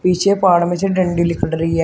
पीछे पहाड़ में से डण्डी लिकड़ रही है।